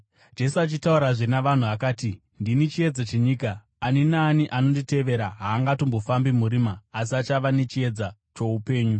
Jesu achitaurazve navanhu, akati, “Ndini chiedza chenyika. Ani naani anonditevera haangatongofambi murima, asi achava nechiedza choupenyu.”